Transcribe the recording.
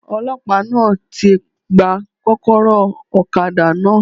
Ọlọ́pàá náà ti gba kókóró òkadá náà